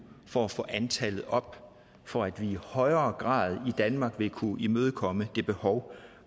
for at få antallet op for at vi i højere grad i danmark vil kunne imødekomme det behov